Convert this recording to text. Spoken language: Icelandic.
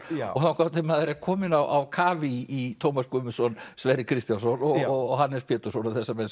þangað til maður er kominn á kaf í Tómas Guðmundsson Sverri Kristjánsson og Hannes Pétursson og þessa menn